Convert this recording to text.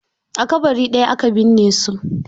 A ƙabari ɗaya aka binne su.